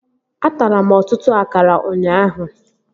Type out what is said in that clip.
Atara m ọtụtụ akara ụnyaahụ